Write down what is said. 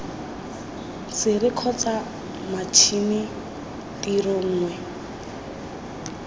sere kgotsa matšhini tiro nngwe